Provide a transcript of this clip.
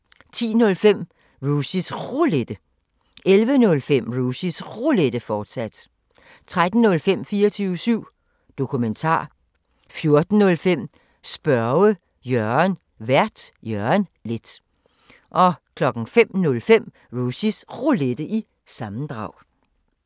10:05: Rushys Roulette 11:05: Rushys Roulette, fortsat 13:05: 24syv Dokumentar 14:05: Spørge Jørgen Vært: Jørgen Leth 05:05: Rushys Roulette – sammendrag